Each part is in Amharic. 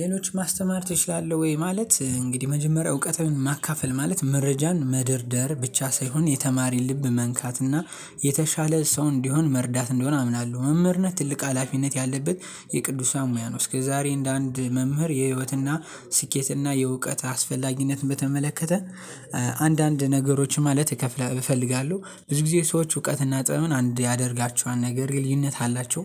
ሌሎች ማስተማር ትችላለህ ወይ? ማለት እንግዲህ መጀመሪያ እውቀትህን ማካፈል ማለት መረጃን መደርደር ብቻ ሳይሆን የተማሪ ልብ መንካትና የተሻለ ሰው እንዲሆን መርዳት እንዲሆን አምናለሁ መምህርነት ትልቅ ሀላፊነት ያለበት የቅዱሳን ሙያ ነው። እስከዛሬ እንደ አንድ መምህር የህይወትና ስኬትና የእውቀት አስፈላጊነት በተመለከተ አንዳንድ ነገሮችን ማለት እከፍላ እፈልጋለሁ ብዙ ጊዜ ሰዎች እውቀትና ጥበብን አንድ ያደርጋችኋን ነገር ግን ልዩነት አላቸው።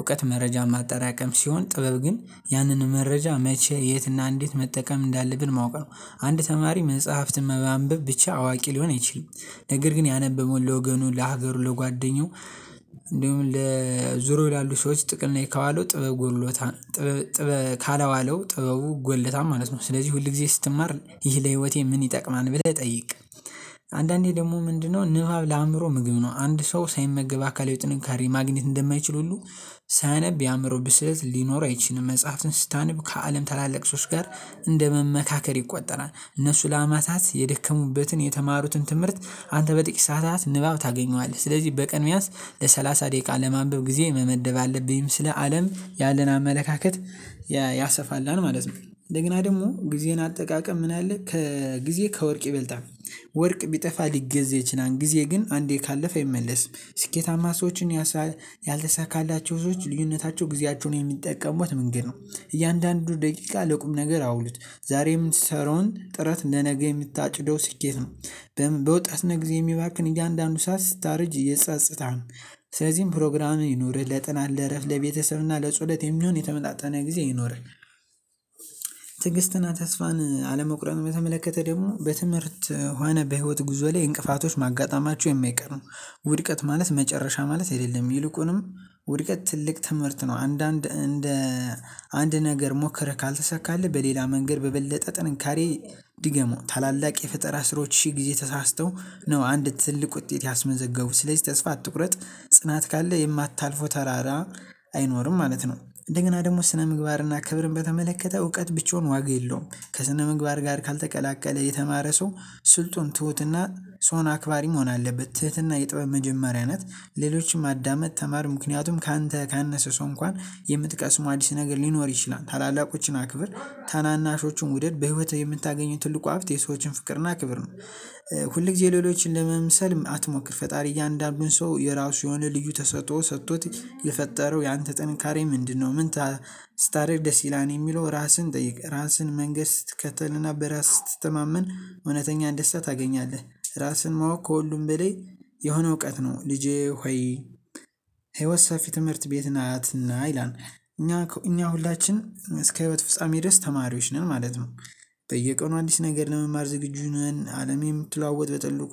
እውቀት መረጃ ማጠራቀም ሲሆን ጥበብ ግን ያንን መረጃ መቼ የትና እንዴት መጠቀም እንዳለብን ማወቅ ነው። አንድ ተማሪ መጽሐፍትን በማንበብ ብቻ አዋቂ ሊሆን አይችልም። ነገር ግን ያነበበውን ለወገኑ ለሀገሩ ለጓደኛው እንዲሁም ለዙሩ ያሉ ሰዎች ጥቅም ላይ ከዋለው ጥበብ ጎሎታ ካላዋለው ጥበቡ ጎድሎታል ማለት ነው። ስለዚህ ሁል ጊዜ ስትማር ይህ ለህይወቴ ምን ይጠቅማል ብለህ ጠይቅ። አንዳንዴ ደግሞ ምንድነው ንባብ ለአእምሮ ምግብ ነው። አንድ ሰው ሳይመገብ አካል ጥንካሬ ማግኘት እንደማይችል ሁሉ ሳያነብ የአእምሮ ብስለት ሊኖር አይችልም። መጽሐፍትን ስታነብ ከአለም ታላላቅ ሶስት ጋር እንደ መመካከር ይቆጠራል እነሱ ለአማታት የደከሙበትን የተማሩትን ትምህርት አንተ በጥቂት ሰዓታት ንባብ ታገኘዋለህ። ስለዚህ በቀን በያንስ ለሰላሳ ደቂቃ ለማንበብ ጊዜ መመደብ አለብኝም ስለ አለም ያለን አመለካከት ያሰፋልናል ማለት ነው። እንደገና ደግሞ ጊዜን አጠቃቀም ምን አለ ከጊዜ ከወርቅ ይበልጣል? ወርቅ ቢጠፋ ሊገዛ ይችላል ጊዜ ግን አንዴ ካለፈ አይመለስም። ስኬታማ ሰዎችን ካላዋለው ጥበቡ ጎድሎታል ማለት ነው። ስለዚህ ሁል ጊዜ ስትማር ይህ ለህይወቴ ምን ይጠቅማል ብለህ ጠይቅ። አንዳንዴ ደግሞ ምንድነው ንባብ ለአእምሮ ምግብ ነው። አንድ ሰው ሳይመገብ አካል የጥንካሬ ማግኔት እንደማይችል ሁሉ ሳያነብ የአእምሮ ብስለት ሊኖር አይችልም። መጽሐፍትን ስታነብ ከአለም ታላላቅ ሶስት ጋር እንደ መመካከር ይቆጠራል። እነሱ ለአማታት የደከሙበትን የተማሩትን ትምህርት አንተ በጥቂት ሰዓታት ንባብ ታገኘዋለህ። ስለዚህ በቀን መያዝ ለሰላሳ ደቂቃ ለማንበብ ጊዜ መመደብ አለብኝም ስለ አለም ያለን አመለካከት ያሰፋልናል ማለት ነው። እንደገና ደግሞ ጊዜን አጠቃቀም ምን አለ ከጊዜ ከወርቅ ይበልጣል? አይኖርም ማለት ነው። እንደገና ደግሞ ስነ ምግባርና ክብርን በተመለከተ እውቀት ብቻውን ዋጋ የለውም። ከስነ ምግባር ጋር ካልተቀላቀለ የተማረ ሰው ስልጡን ትሁትና ሰውን አክባሪ መሆን አለበት። ትህትና የጥበብ መጀመሪያ ናት። ሌሎችም አዳመጥ ተማር ምክንያቱም ካንተ ካነሰ ሰው እንኳን የምትቀስሙው አዲስ ነገር ሊኖር ይችላል። ታላላቆችን አክብር ታናናሾቹን ውደድ በህይወትህ የምታገኘው ትልቁ ሀብት የሰዎችን ፍቅርና ክብር ነው። ሁል ጊዜ ሌሎችን ለመምሰል አትሞክር። ፈጣሪ እያንዳንዱን ሰው የራሱ የሆነ ልዩ ተሰጥኦ ሰጥቶት የፈጠረው ያንተ ጥንካሬ ምንድነው? ምን ሌሎችም አዳመጥ ተማር ምክንያቱም ካንተ ካነሰ ሰው እንኳን የምትቀስሙ አዲስ ነገር ሊኖር ይችላል። ታላላቆችን አክብር ታናናሾቹን ውደድ በህይወት የምታገኙት ትልቁ ሀብት የሰዎችን ፍቅርና አክብር ነው። ሁል ጊዜ ሌሎችን ለመምሰል አትሞክር። ፈጣሪ እያንዳንዱን ሰው የራሱ የሆነ ልዩ ተሰጥኦ ሰጥቶት የፈጠረው ያንተ ጥንካሬ ምንድነው? ምን አይኖርም ማለት ነው። እንደገና ደግሞ ስነ ምግባርና ክብርን በተመለከተ እውቀት ብቻውን ዋጋ የለውም። ከስነ ምግባር ጋር ካልተቀላቀለ የተማረ ሰው ስልጡን ትሁትና ሰውን አክባሪ መሆን አለበት። ትህትና የጥበብ መጀመሪያ ናት። ሌሎችም አዳመጥ ተማር ምክንያቱም ካንተ ካነሰ ሰው እንኳን የምትቀስሙ አዲስ ነገር ሊኖር ይችላል። ታላላቆችን አክብር ታናናሾቹን ውደድ በህይወት የምታገኙት ትልቁ ሀብት የሰዎችን ፍቅርና አክብር ነው። ታደርግ ሲላን የሚለው ራስህን ጠይቅ? ራስህን መንገድ ስትከተልና በራስ ስትተማመን እውነተኛ እንደስታ ታገኛለህ። ራስህን ማወቅ ከሁሉም በላይ የሆነ እውቀት ነው። ልጄ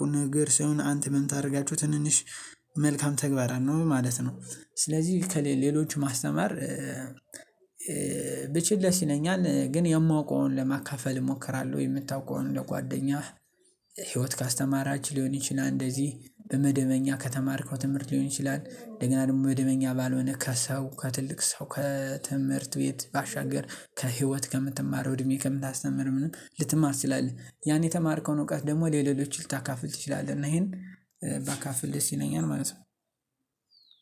ሆይ